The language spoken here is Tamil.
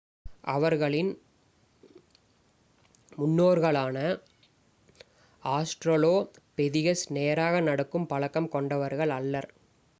அவர்களின் முன்னோர்களான ஆஸ்ட்ராலோபெதிகஸ் நேராக நடக்கும் பழக்கம் கொண்டவர்கள் அல்லர்